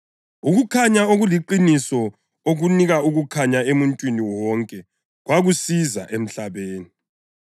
Ukukhanya okuliqiniso okunika ukukhanya emuntwini wonke kwakusiza emhlabeni.